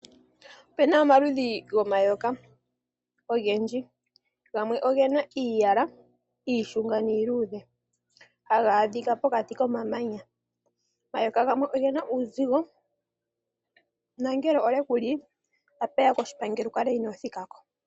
Opena omaludhi gomayoka ogendji, gamwe ogena iiyala iishunga niiludhe haga adhika pokati komamanya. Omayoka gamwe ogena uuzigo nangele olye kuli apeya koshipangelo wukale inoothika ko.